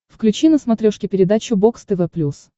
включи на смотрешке передачу бокс тв плюс